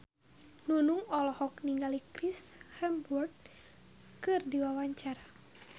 Nunung olohok ningali Chris Hemsworth keur diwawancara